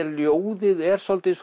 ljóðið er svolítið